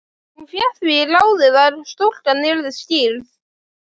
Hún fékk því ráðið að stúlkan yrði skírð